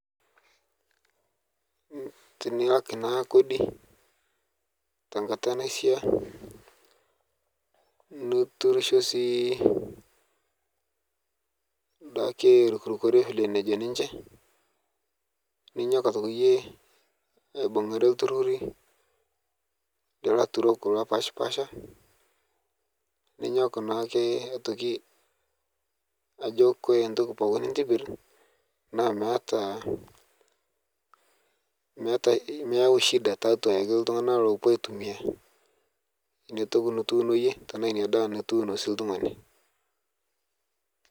Tiniaak naa kodi te nkaata nashaa nituruusho sii ndaaki arukurukore file najoo ninchee, ninyook aitokii iyee aibung'are elturorii laturok lopaspasha. Ninyook naake aitokii ajoo kore ntooki pooki nintibirr naa meeta meeta meeyau shida te atua ake ltung'ana lopoo aitumia nenia ntooki nituuno eiyee tana enia ndaa nituuno sii ltung'ani.